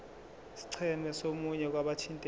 scheme somunye wabathintekayo